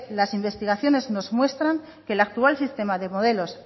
las investigaciones nos muestran que el actual sistema de modelos